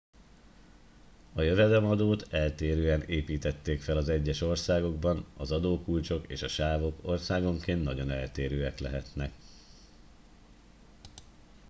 a jövedelemadót eltérően építették fel az egyes országokban az adókulcsok és a sávok országonként nagyon eltérőek lehetnek